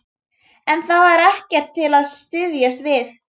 En það var ekkert til að styðjast við.